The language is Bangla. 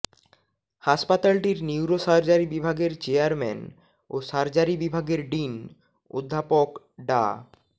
হাসপাতালটির নিউরো সার্জারি বিভাগের চেয়ারম্যান ও সার্জারি বিভাগের ডিন অধ্যাপক ডা